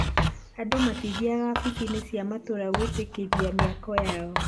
andũ matithiaga wabici-inĩ cia matũũra gwĩtĩkĩria mĩako yao